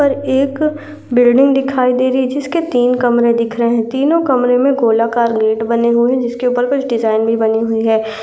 और एक बिल्डिंग दिखाई दे रही जिसके तीन कमरे दिख रहे है तीनो कमरे में गोलाकार गेट बने हुए है जिसके ऊपर कुछ डिज़ाइन भी बनी हुई है।